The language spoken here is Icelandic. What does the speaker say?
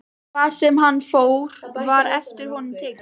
Hvar sem hann fór var eftir honum tekið.